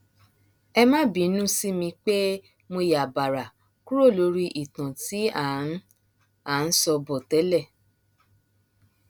ẹ má bínú sí mi pé mo yá bàrá kúrò lórí ìtàn tí à ń à ń sọ bọ tẹlẹ